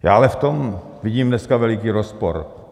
Já ale v tom vidím dneska veliký rozpor.